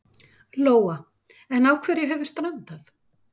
Lóa: En á hverju hefur strandað?